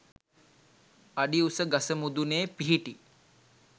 අඩි උස ගස මුදුනේ පිහිටි